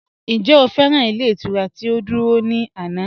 Ǹjẹ́ o fẹ́ran ilẹ̀ iturà ti o dúrọ̀ ni ànà?